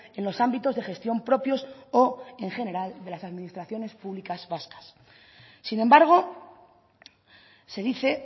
en los ámbitos de gestión propios o en general de las administraciones públicas vascas sin embargo se dice